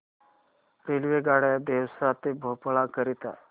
रेल्वेगाड्या देवास ते भोपाळ करीता